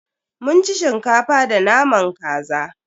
Mun ci Shinkafa da naman kaza.